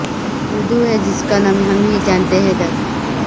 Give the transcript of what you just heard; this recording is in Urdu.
اردو ہے جس کا نام ہم ہی جانتے ہیں داغ